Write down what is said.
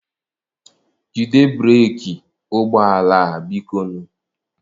Jide breeki ụgbọ ala a, biko nụ.